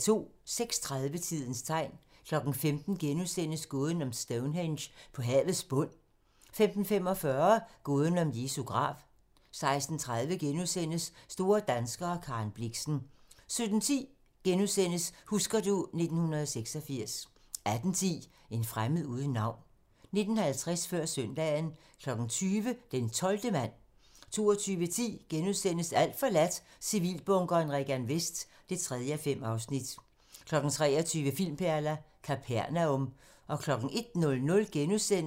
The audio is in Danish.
06:30: Tidens tegn 15:00: Gåden om Stonehenge på havets bund * 15:45: Gåden om Jesu grav 16:30: Store danskere - Karen Blixen * 17:10: Husker du ... 1986 * 18:10: En fremmed uden navn 19:50: Før søndagen 20:00: Den 12. mand 22:10: Alt forladt - Civilbunkeren Regan Vest (3:5)* 23:00: Filmperler: Kapernaum